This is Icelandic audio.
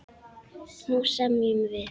Nú semjum við!